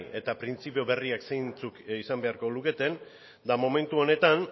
eta printzipio berriek zeintzuk izan beharko luketen eta momentu honetan